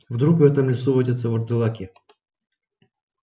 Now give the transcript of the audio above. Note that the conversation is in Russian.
вдруг в этом лесу водятся вурдалаки